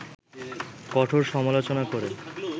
কঠোর সমালোচনা করে